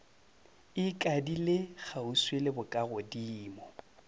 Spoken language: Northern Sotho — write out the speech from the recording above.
e ikadile kgauswi le bokagodimo